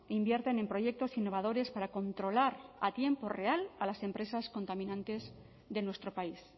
invierten en proyectos innovadores para controlar a tiempo real a las empresas contaminantes de nuestro país